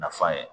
Nafa ye